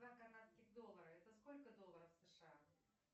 два канадских доллара это сколько долларов сша